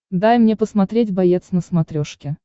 дай мне посмотреть боец на смотрешке